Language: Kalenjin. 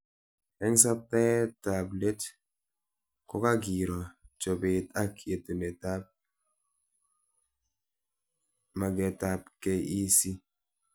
Eng subteab let kokakiro chobet ak yetunetab mabketab KEC